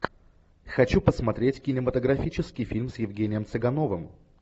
хочу посмотреть кинематографический фильм с евгением цыгановым